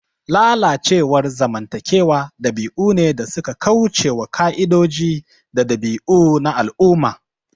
Lalacewar zamantakewa dabi'u ne da suka kauce wa ƙa'idoji da dabi'u na al'umma.